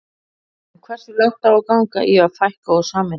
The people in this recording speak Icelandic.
En hversu langt á að ganga í að fækka og sameina?